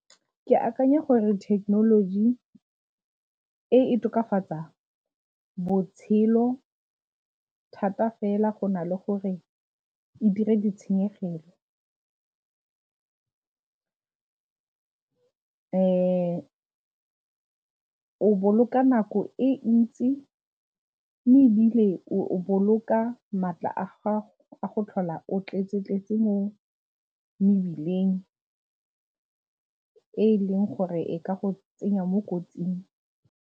Ke akanya gore thekenoloji e e tokafatsa botshelo thata fela go na le gore e dire di tshenyegelo o boloka nako e ntsi mme ebile o boloka maatla a gago a go tlhola o tletse-tletse mo mebileng e e leng gore e ka go tsenya mo kotsing.